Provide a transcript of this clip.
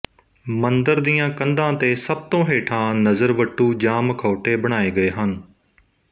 ਮੰਦਿਰ ਦੀਆਂ ਕੰਧਾਂ ਤੇ ਸਭ ਤੋਂ ਹੇਠਾਂ ਨਜ਼ਰਵੱਟੂ ਜਾਂ ਮਖੌਟੇ ਬਣਾਏ ਗਏ ਹਨ